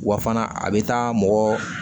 Wa fana a bɛ taa mɔgɔɔ